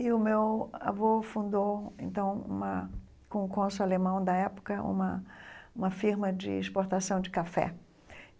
E o meu avô fundou, então uma com o cônsul alemão da época, uma uma firma de exportação de café.